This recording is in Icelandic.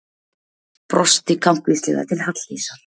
Brosti kankvíslega til Halldísar.